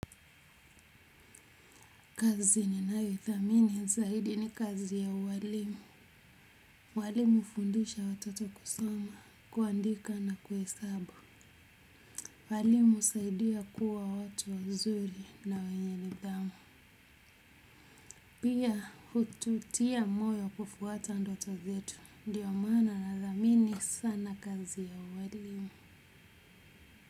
Kazi ninayo idhamini zaidi ni kazi ya uwalimu walimu hufundisha watoto kusoma, kuandika na kuhesabu. Walimu husaidia kuwa watu wazuri na wenye nidhamu. Pia hututia moyo kufuata ndoto zetu. Ndio mana nadhamini sana kazi ya uwalimu.